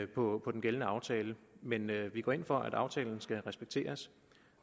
på den gældende aftale men vi går ind for at aftalen skal respekteres